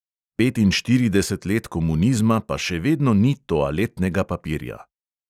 "Petinštirideset let komunizma, pa še vedno ni toaletnega papirja."